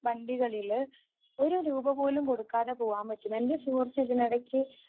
വണ്ടികളില് ഒരു രൂപ പോലും കൊടുക്കാതെ പോവാൻ പറ്റും. എൻറെ സുഹൃത്ത് ഇതിനിടയ്ക്ക്